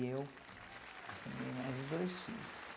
E eu arrumei mais dois filhos.